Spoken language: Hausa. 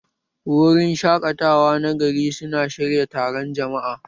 Wurin shaƙatawa na gari su na shirya taron jama'a